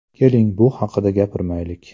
Keling, bu haqida gapirmaylik.